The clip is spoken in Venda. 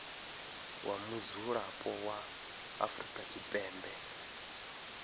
wa mudzulapo wa afrika tshipembe